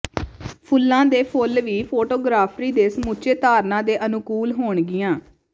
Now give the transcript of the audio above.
ਫੁੱਲਾਂ ਦੇ ਫੁੱਲ ਵੀ ਫੋਟੋਗਰਾਫੀ ਦੇ ਸਮੁੱਚੇ ਧਾਰਨਾ ਦੇ ਅਨੁਕੂਲ ਹੋਣਗੀਆਂ